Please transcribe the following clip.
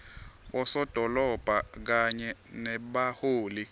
bosodolobha kanye nebaholi